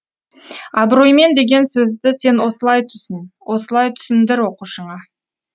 абыроймен деген сөзді сен осылай түсін осылай түсіндір оқушыңа